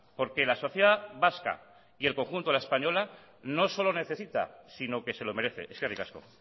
porque la sociedad vasca y el conjunto de la española no solo necesita sino que se lo merece eskerrik asko